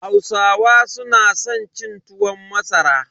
Hausawa su na san cin tuwon masara.